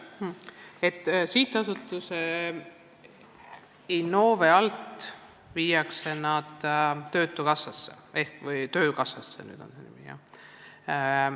See töö viiakse Sihtasutuse Innove alt töötukassasse ehk siis töökassasse, nagu nüüd on selle nimi.